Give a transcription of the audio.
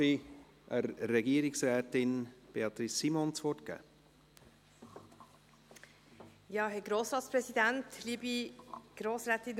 Dann darf ich Regierungsrätin Beatrice Simon das Wort geben.